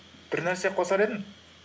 бір нәрсе қосар едім